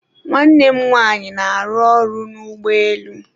nwanne nwanyị na-arụ ọrụ n'ụgbọelu